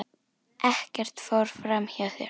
Ekkert fór fram hjá þér.